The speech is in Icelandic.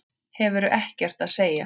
Hefur ekkert að segja.